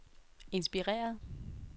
inspireret